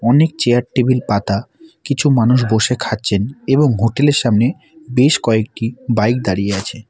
অনেক chair table পাতা কিছু মানুষ বসে খাচ্ছেন এবং হোটেল -এর সামনে বেশ কয়েকটি বাইক দাঁড়িয়ে আছে।